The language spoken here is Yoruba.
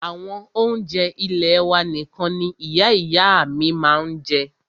Àwọn oúnjẹ ilẹ́ wà nìkan ní Ìyá ìyá à mí ma ń jẹ́.